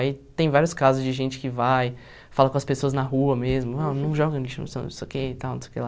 Aí tem vários casos de gente que vai, fala com as pessoas na rua mesmo, não não joga lixo no chão, não sei o que e tal, não sei o que lá.